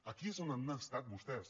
aquí és on han estat vostès